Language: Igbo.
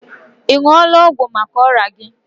Ị ṅụọla ọgwụ maka ọrịa gi?